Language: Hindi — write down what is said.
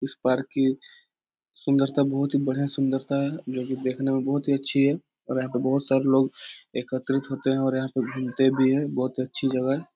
उस पार्क की सुन्दरता बहुत ही बढ़िया सुन्दरता है जो कि देखने में बहुत ही अच्छी है और यहाँ पे बहोत सारे लोग एकत्रित होते हैं और यहाँ पे घूमते भी हैं बहोत अच्छी जगह है ।